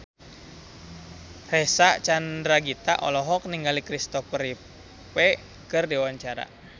Reysa Chandragitta olohok ningali Kristopher Reeve keur diwawancara